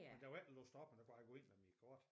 Men der var ikke låst op men jeg kunne bare gå ind med mit kort